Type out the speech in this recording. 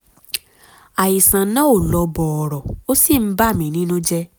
àìsàn náà ò lọ bọ̀rọ̀ ó sì ń bà mí nínú jẹ́